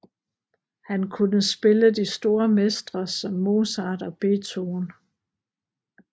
Han kunne spille de store mestre som Mozart og Beethoven